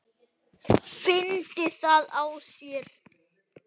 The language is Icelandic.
Fyndi það á sér.